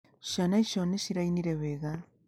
Ciana icio nĩ cirainire wega.